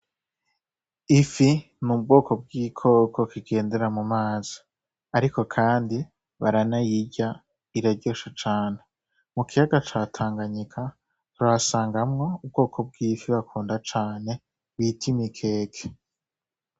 Ifi mu bwoko bw'ibikoko kigendera mu mazi, ariko, kandi baranayirya iraryoshe cane mu kiyaga catanganyika tuhasangamwo ubwoko bw'ifi bakunda cane bita imikeke.